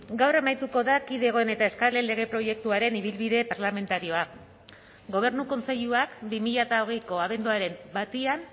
gaur amaituko da kidegoen eta eskalen lege proiektuaren ibilbide parlamentarioa gobernu kontseiluak bi mila hogeiko abenduaren batean